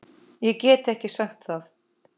Ég get ekki sagt það.